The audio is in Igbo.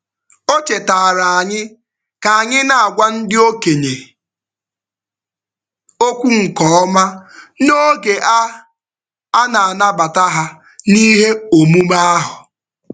O chetaara anyị ka anyị na-agwa ndị okenye okwu nke ọma n'oge a a na-anabata ha n'ihe omume ahụ.